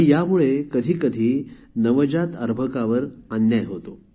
यामुळे कधीकधी नवजात अर्भकावर अन्याय होतो